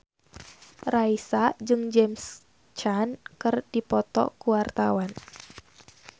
Raisa jeung James Caan keur dipoto ku wartawan